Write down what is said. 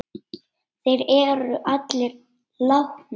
Þeir eru allir látnir.